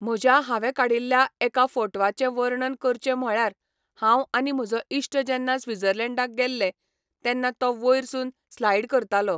म्हज्या हांवें काडिल्ल्या एका फोटवाचें वर्णन करचें म्हळ्यार हांव आनी म्हजो इश्ट जेन्ना स्विजर्लेंडाक गेल्ले, तेन्ना तो वयर सून स्लायड करतालो.